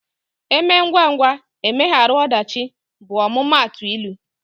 " Eme ngwa ngwa, emegharu ọdachi" bụ omumatu ịlụ